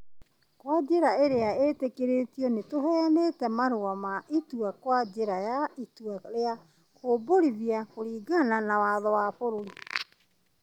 Kwa njĩra ĩria itikiritio, nĩ tũheanĩtĩ marũa ma itua kwa njĩra ya itua rĩa kũmbũrithia kũringana na watho wa bũrũri.